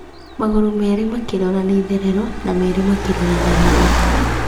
Magũrũ merĩ makĩrora na itherero, na meerĩ makĩrora na rũgũrũ.